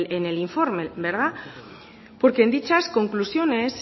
en el informe verdad porque en dichas conclusiones